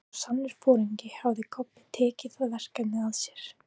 Eins og sannur foringi hafði Kobbi tekið það verkefni að sér.